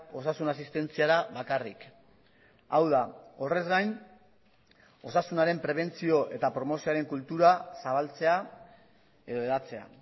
osasun asistentziala bakarrik hau da horrez gain osasunaren prebentzio eta promozioaren kultura zabaltzea edo hedatzea